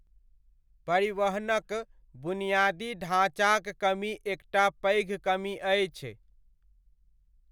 परिवहनक बुनियादी ढाँचाक कमी एकटा पैघ कमी अछि।